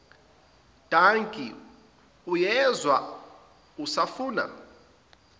dankie uyezwa usafuna